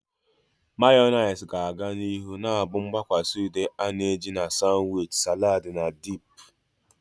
Mayonezi ga-aga n'ihu na-abụ mgbakwasa ude a na-eji na sanwichi, salads, na dip.